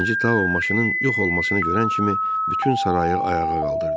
Birinci Tao maşının yox olmasını görən kimi bütün sarayı ayağa qaldırdı.